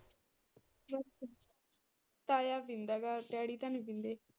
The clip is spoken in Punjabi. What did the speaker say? ਤਾਇਆ ਪੀਂਦਾ ਐ ਡੈਡੀ ਤਾਂ ਨੀ ਪੀਂਦੇ।